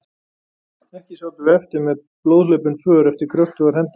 Ekki sátum við eftir með blóðhlaupin för eftir kröftugar hendur.